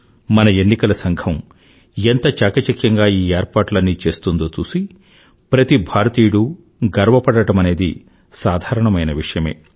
మన ఎన్నికల సంఘం ఎంత చాకచక్యంగా ఈ ఏర్పాట్లన్నీ చేస్తుందో చూసి ప్రతి భారతీయుడూ గర్వపడడమనేది సాధారణమైన విషయమే